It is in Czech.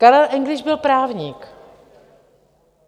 Karel Engliš byl právník.